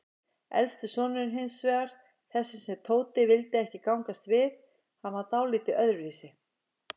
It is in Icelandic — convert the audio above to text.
Elsti sonurinn hinsvegar, þessi sem Tóti vildi ekki gangast við, hann var dáldið öðruvísi.